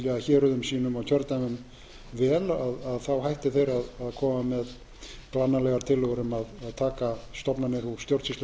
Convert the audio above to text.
héruðum sínum og kjördæmum vel þá hætti þeir að koma með glannalegar tillögur um að taka stofnanir úr